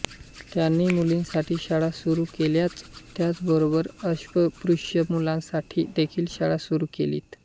त्यांनी मुलींसाठी शाळा सुरू केल्याचं त्याच बरोबर अस्पृश्य मुलांसाठी देखील शाळा सुरू केलीत